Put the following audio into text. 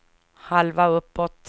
halva uppåt